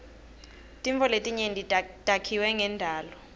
tintfo letinyenti takhiwe ngendalo